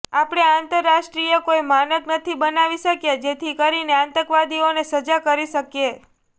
આપણે આંતરરાષ્ટ્રીય કોઈ માનક નથી બનાવી શક્યા જેથી કરીને આતંકવાદીઓને સજા કરી શકીએ